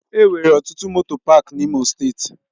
Enwere ọtụtụ moto pááki n'Imo steeti.